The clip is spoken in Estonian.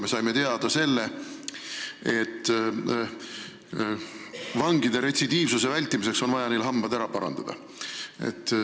Me saime teada, et vangide retsidiivsuse vältimiseks on vaja neil hambad ära parandada.